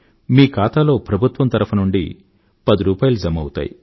మీ ఖాతాలో ప్రభుత్వం తరఫునుండి పదిరూపాయిలు జమా అవుతాయి